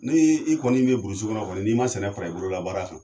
Ne i kɔni bɛ kɔnɔ kɔnl n'i ma sɛnɛ fara i bolola baara kan